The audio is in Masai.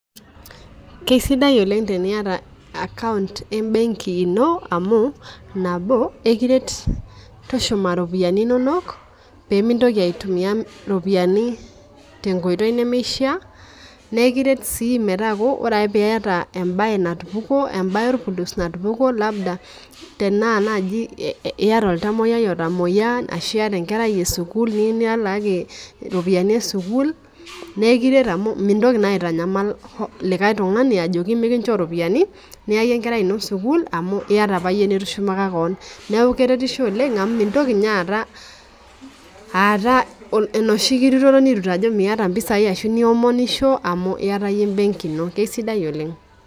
Keisidai oleng' teneiyata account ee benki ino amu nabo ikiret tushuma iropiani inonok pemintoki aitumia iropiani tenkoitoi nemeisha, naa ikiret sii metaku ore piyata ebae natupukuo, ebae orpurus natupukuo labda tena naji iyata oltamoiai otamoia ashu enkerai esukul niyou nilakii iropiani ee sukul na ikiret amu mintoki naa aitanyamal likai tung'ani ajoki mikincho iropiani iya ake enkerai ino sukul amu iyata apa iyie nitushumaka keon. Neeku keretisho oleng' amu mintoki ninye aata aata enoshi kirutoto nirut ajo miyata impesai ashu niomonisho amu iyata iyie ee benki ino. Keisidai oleng'.